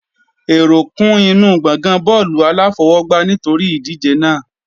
Èrò kún inú gbọ̀ngàn bọ́ọ̀lù aláfọwọgbá nítorí ìdíje náà.